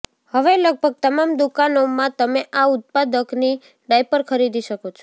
હવે લગભગ તમામ દુકાનોમાં તમે આ ઉત્પાદકની ડાયપર ખરીદી શકો છો